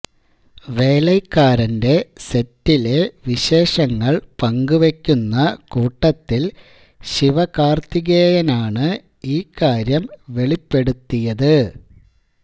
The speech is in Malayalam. വേലൈക്കാരന്റെ സെറ്റിലെ വിശേഷങ്ങള് പങ്കുവെക്കുന്ന കൂട്ടത്തില് ശിവാകാര്ത്തികേയനാണ് ഈ കാര്യം വെളിപ്പെടുത്തിയത്